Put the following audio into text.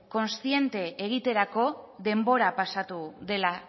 kontziente egiterako denbora pasatu dela